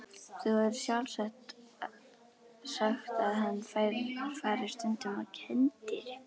Þú hefur sjálf sagt að hann fari stundum á kenndirí.